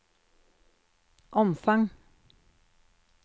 omfang